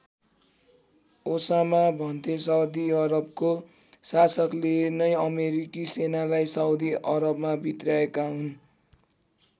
Osama भन्थे Saudi अरबको शासकले नै अमेरिकी सेनालाई साउदी अरबमा भित्र्याएका हुन्।